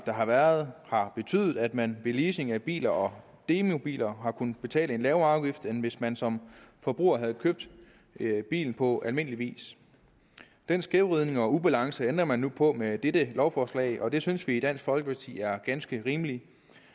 der har været har betydet at man ved leasing af biler og demobiler har kunnet betale en lavere afgift end hvis man som forbruger havde købt bil på almindelig vis den skævvridning og ubalance ændrer man nu på med dette lovforslag og det synes vi i dansk folkeparti er ganske rimeligt